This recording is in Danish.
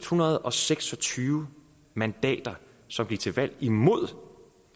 hundrede og seks og tyve mandater som gik til valg imod